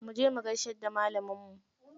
Muje mu gaishe da malaminmu.